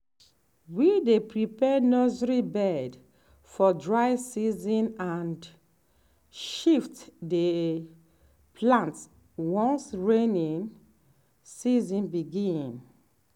we dey prepare nursery bed for dry season and shift the plant once rainy season begin.